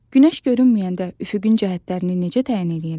Günəş görünməyəndə üfüqün cəhətlərini necə təyin eləyirlər?